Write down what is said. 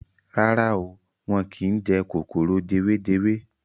Rárá o, wọ́n kín jẹ kòkòrò jewejewe.